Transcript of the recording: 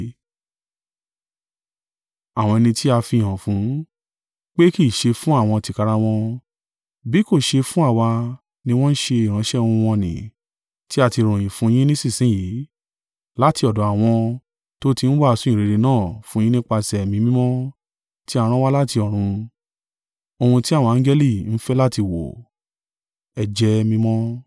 Àwọn ẹni tí a fihàn fún, pé kì í ṣe fún àwọn tìkára wọn, bí kò ṣe fún àwa ni wọ́n ṣe ìránṣẹ́ ohun wọ̀n-ọn-nì, tí a ti ròyìn fún yin nísinsin yìí, láti ọ̀dọ̀ àwọn tó ti ń wàásù ìyìnrere náà fún yín nípasẹ̀ Ẹ̀mí Mímọ́ tí a rán wá láti ọ̀run; ohun tí àwọn angẹli ń fẹ́ láti wò.